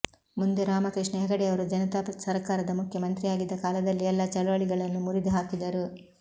ಮುಂದೆ ರಾಮಕೃಷ್ಣ ಹೆಗಡೆಯವರು ಜನತಾ ಸರ್ಕಾರದ ಮುಖ್ಯಮಂತ್ರಿಯಾಗಿದ್ದ ಕಾಲದಲ್ಲಿ ಎಲ್ಲ ಚಳವಳಿಗಳನ್ನು ಮುರಿದು ಹಾಕಿದರು